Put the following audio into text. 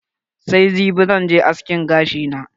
Sai jibi zan je askin gashi na.